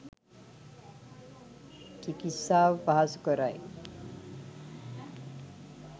චිකිත්සාව පහසුකරයි.